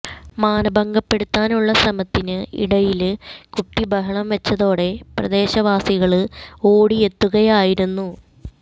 മാനഭംഗപ്പെടുത്താനുള്ള ശ്രമത്തിന് ഇടയില് കുട്ടി ബഹളം വെച്ചതോടെ പ്രദേശവാസികള് ഓടിയെത്തുകയായിരുന്നു